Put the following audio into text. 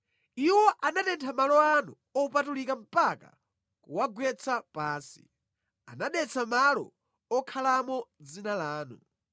Iwo anatentha malo anu opatulika mpaka kuwagwetsa pansi; anadetsa malo okhalamo dzina lanu.